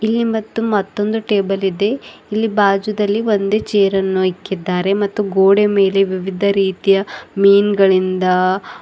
ಇಲ್ಲಿ ಮತ್ತು ಮತ್ತೊಂದು ಟೇಬಲ್ ಇದೆ ಇಲ್ಲಿ ಬಾಜು ದಲ್ಲಿ ಒಂದೆ ಚೇರನ್ನು ಇಕ್ಕಿದ್ದಾರೆ ಮತ್ತು ಗೋಡೆ ಮೇಲೆ ವಿವಿಧ ರೀತಿಯ ಮೀನ ಗಳಿಂದ--